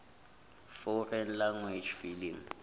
foreign language film